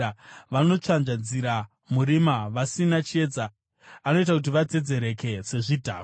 Vanotsvanzvadzira murima vasina chiedza; anoita kuti vadzedzereke sezvidhakwa.